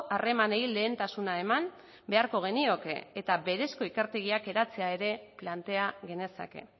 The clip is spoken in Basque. harremanei lehentasuna eman beharko genioke eta berezko ikertegiak eratzea ere plantea genezake